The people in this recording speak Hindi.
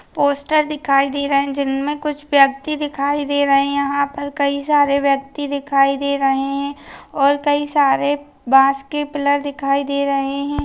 पोस्टर दिखाई दे रहे जिनमे कुछ व्यक्ति दिखाई दे रहे हैं यहाँ पर कई सारे व्यक्ति दिखाई दे रहे हैं और कई सारे बाँस के पिलर दिखाई दे रहे हैं।